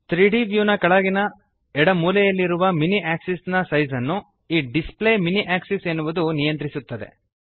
3ದ್ ವ್ಯೂ ನ ಕೆಳಗಿನ ಎಡ ಮೂಲೆಯಲ್ಲಿ ಇರುವ ಮಿನಿ ಆಕ್ಸಿಸ್ ನ ಸೈಜ್ ಅನ್ನು ಈ ಡಿಸ್ಪ್ಲೇ ಮಿನಿ ಆಕ್ಸಿಸ್ ಎನ್ನುವುದು ನಿಯಂತ್ರಿಸುತ್ತದೆ